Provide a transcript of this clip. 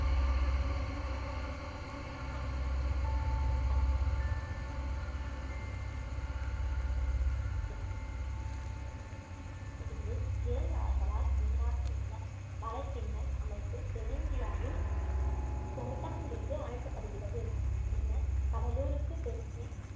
கிளை ஆறுகளால் உண்டாகியுள்ள வலைப்பின்னல் அமைப்பு தென்னிந்தியாவின் தோட்டம் என்று அழைக்கப்படுகிறது பின்னர் கடலூருக்கு தெற்கே